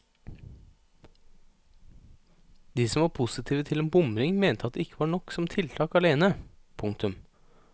De som var positive til en bomring mente at det ikke var nok som tiltak alene. punktum